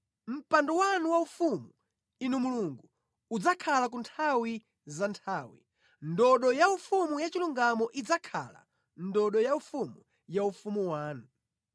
Mpando wanu waufumu, Inu Mulungu, udzakhala ku nthawi za nthawi; ndodo yaufumu yachilungamo idzakhala ndodo yaufumu ya ufumu wanu.